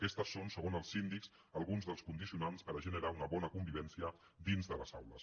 aquests són segons el síndic alguns dels condicionants per generar una bona convivència dins de les aules